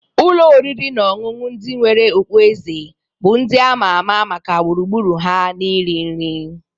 Ụlọ oriri na ọṅụṅụ ndị nwere okpueze bụ ndị a ma ama maka gburugburu ha na iri nri.